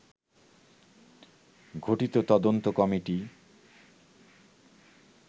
গঠিত তদন্ত কমিটি